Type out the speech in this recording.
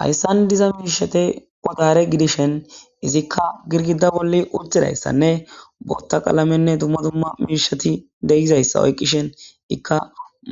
Hayssan diza mirshate qotare gidishen izikka girgida bolli urtidayssanne bootta qaalamenne dumma dumma mirshati deyizayssa oykqishen ikka